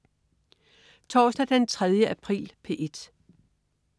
Torsdag den 3. april - P1: